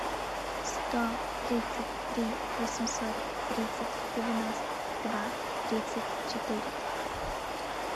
сто тридцать три восемьсот тридцать девяносто два тридцать четыре